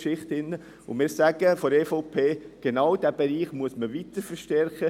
Wir von der EVP sagen, genau dieser Bereich müsse weiter verstärkt werden.